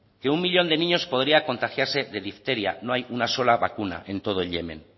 que uno millón de niños podrían contagiarse de difteria no hay ni una sola vacuna en todo el yemen